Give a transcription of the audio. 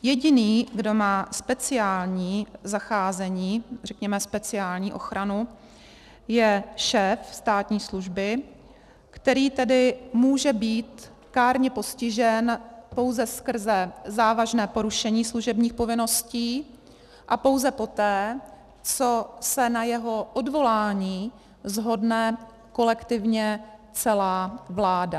Jediný, kdo má speciální zacházení, řekněme speciální ochranu, je šéf státní služby, který tedy může být kárně postižen pouze skrze závažné porušení služebních povinností a pouze poté, co se na jeho odvolání shodne kolektivně celá vláda.